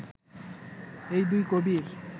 এই দুই কবির